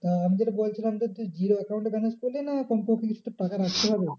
তা আমি যেটা বলেছিলাম যে তুই zero account এ balance করলি না কমপক্ষে কিছু তোর টাকা রাখতে হবে?